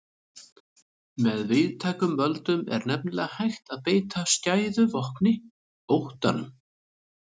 Með víðtækum völdum er nefnilega hægt að beita skæðu vopni, óttanum.